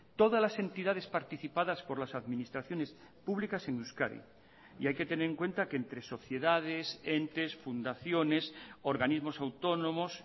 todas las entidades participadas por las administraciones públicas en euskadi y hay que tener en cuenta que entre sociedades entes fundaciones organismos autónomos